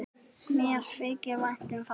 Mér þykir vænt um það.